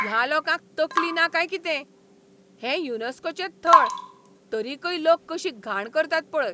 ह्या लोकांक तकली ना काय कितें? हें युनेस्कोचें थळ, तरीकय लोक कशी घाण करतात पळय.